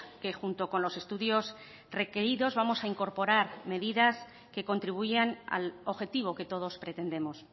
que junto con los estudios requeridos vamos a incorporar medidas que contribuyan al objetivo que todos pretendemos